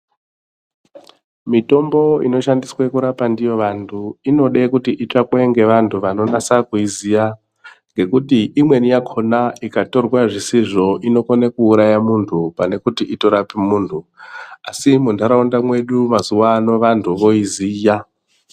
Mitombo inoshandiswe kurapa ndiyo vanthu inode kuti itsvakwe ngevanthu vanonasa kuiziya ngekuti imweni yakhona ikatora zvisizvo inokone kuuraye munthu pane kuti itorape munthu asi muntharaunda medu mazuwano vanthu voiziya.